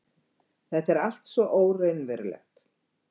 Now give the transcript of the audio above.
Þetta er allt svo óraunverulegt.